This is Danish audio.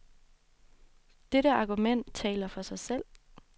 Dette argument taler for sig selv.